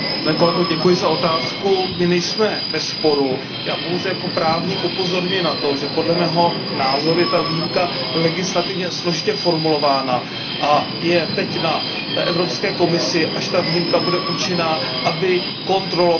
My nejsme ve sporu, já pouze jako právník upozorňuji na to, že podle mého názoru je ta výjimka legislativně složitě formulována, a že je teď na Evropské komisi, až ta výjimka bude účinná, aby kontrolovala, zda je dodržována.